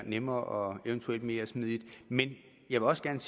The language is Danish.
nemmere og eventuelt mere smidigt men jeg vil også gerne